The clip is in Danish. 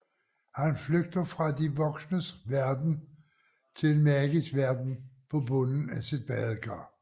Han flygter fra de voksnes verden til en magisk verden på bunden af sit badekar